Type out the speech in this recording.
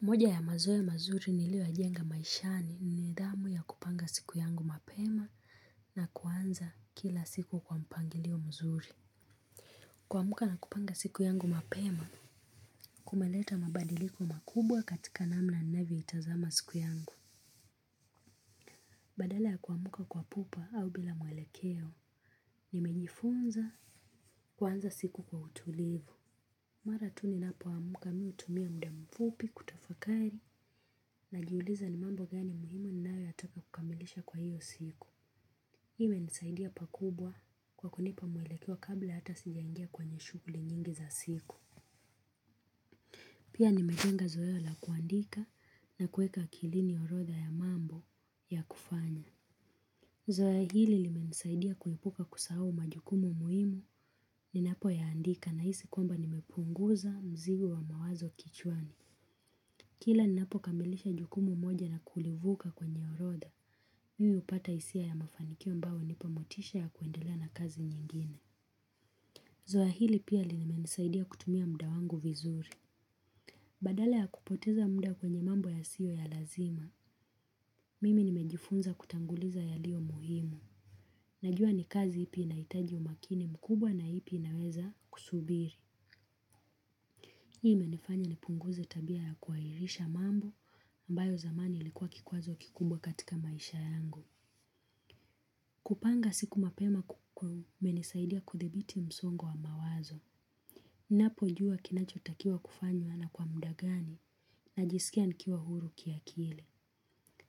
Moja ya mazoea mazuri niliyoyajenga maishani ni nidhamu ya kupanga siku yangu mapema na kuanza kila siku kwa mpangilio mzuri. Kuamka na kupanga siku yangu mapema, kumeleta mabadiliko makubwa katika namna ninavyoitazama siku yangu. Badala ya kuamka kwa pupa au bila mwelekeo, nimejifunza kuanza siku kwa utulivu. Mara tu ninapo amka mimi hutumia muda mfupi kutafakari najiuliza ni mambo gani muhimu ninayotaka kukamilisha kwa hiyo siku. Imenisaidia pakubwa kwa kunipa mwelekeo kabla hata sijangia kwenye shughuli nyingi za siku. Pia nimejenga zoea la kuandika na kuweka akilini orodha ya mambo ya kufanya. Zoea hili limenisaidia kuepuka kusahau majukumu muhimu ninapoyaandika nahisi kwamba nimepunguza mzigo wa mawazo kichwani. Kila ninapo kamilisha jukumu moja na kulivuka kwenye orodha, mimi hupata hisia ya mafanikio ambayo hunipa motisha ya kuendelea na kazi nyingine. Zoea hili pia limenisaidia kutumia muda wangu vizuri. Badala ya kupoteza muda kwenye mambo yasiyo ya lazima, mimi nimejifunza kutanguliza yalio muhimu. Najua ni kazi ipi inaitaji umakini mkubwa na ipi inaweza kusubiri. Hii imenifanya nipunguze tabia ya kuahirisha mambo ambayo zamani ilikuwa kikwazo kikubwa katika maisha yangu. Kupanga siku mapema kumenisaidia kudhibiti msongo wa mawazo. Napojua kinachotakiwa kufanywa na kwa muda gani najisikia nikiwa huru kiakili.